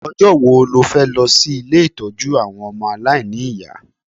Ọjọ́ wo lo fẹ́ lọ sí ilé ìtọ́jú àwọn ọmọ aláìní ìyá?